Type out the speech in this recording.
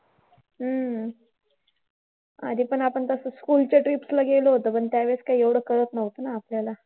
हम्म आधी पण आपण तसंच school च्या trips ला गेलो होतो पण त्या वेळेस काही एवढं कळत नव्हतं ना आपल्याला.